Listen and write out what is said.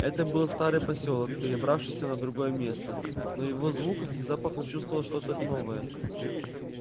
это был старый посёлок перебравшийся на другое место но в его звуках и запахах чувствовалось что то новое